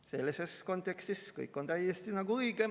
Sellises kontekstis oleks kõik nagu täiesti õige.